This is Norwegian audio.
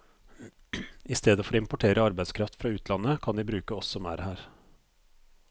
I stedet for å importere arbeidskraft fra utlandet, kan de bruke oss som er her.